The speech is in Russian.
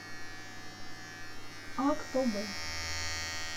актобе